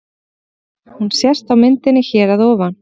Hún sést á myndinni hér að ofan.